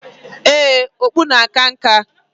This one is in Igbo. Ee, okpu a akana nka.